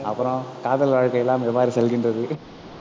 அப்புறம், காதல் வாழ்க்கை எல்லாம் எவ்வாறு செல்கின்றது